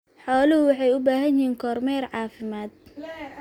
Xooluhu waxay u baahan yihiin kormeer caafimaad.